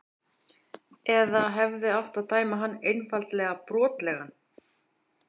Eða hefði átt að dæma hann einfaldlega brotlegan?